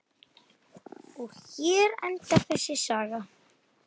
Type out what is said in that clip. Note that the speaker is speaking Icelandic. Og hér endar þessi saga.